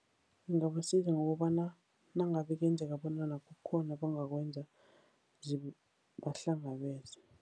Ngingabasiza ngokobana nangabe kuyenzeka bona abangakwenza zibahlangabeze.